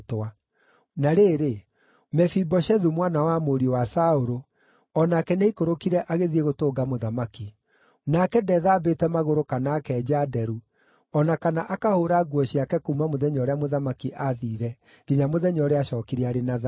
Na rĩrĩ, Mefiboshethu, mwana wa mũriũ wa Saũlũ, o nake nĩaikũrũkire agĩthiĩ gũtũnga mũthamaki. Nake ndethambĩte magũrũ kana akenja nderu, o na kana akahũũra nguo ciake kuuma mũthenya ũrĩa mũthamaki aathiire nginya mũthenya ũrĩa aacookire arĩ na thayũ.